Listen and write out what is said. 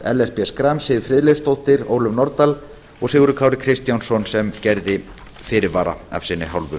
ellert b schram siv friðleifsdóttir ólöf nordal og sigurður kári kristjánsson sem gerði fyrirvara af sinni hálfu